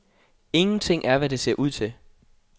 Ingenting er, hvad det ser ud til.